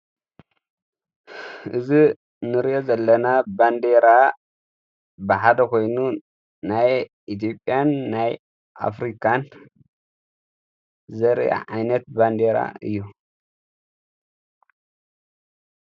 እዝ ንርዮ ዘለና ባንዴራ ብሓደ ኾይኑን ናይ ኢቲብያን ናይ ኣፍሪካን ዘርአ ዓይነት ባንዴራ እዩ።